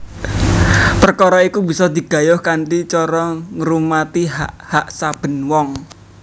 Perkara iku bisa digayuh kanthi cara ngurmati hak hak saben wong